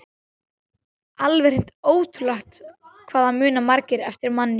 Alveg hreint ótrúlegt hvað það muna margir eftir manni!